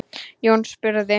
Jón spurði